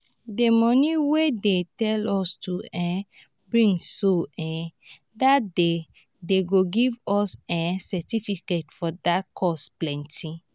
the money wey dey tell us to um bring so um dat day dey go give us um certificate for dat course plenty